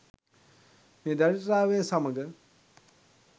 මේ දරිද්‍රතාවය සමග